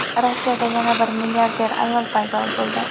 Rossiyada yana bir milliarder ayol paydo bo‘ldi.